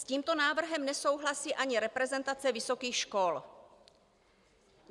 S tímto návrhem nesouhlasí ani reprezentace vysokých škol.